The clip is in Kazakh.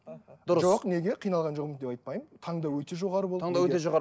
жоқ неге қиналған жоқпын деп айтпаймын таңдау өте жоғары болды таңдау өте жоғары